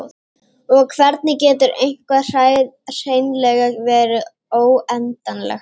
Og hvernig getur eitthvað hreinlega verið óendanlegt?